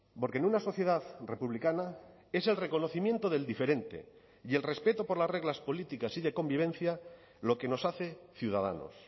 porque en una sociedad republicana es el reconocimiento del diferente y el respeto por las reglas políticas y de convivencia lo que nos hace ciudadanos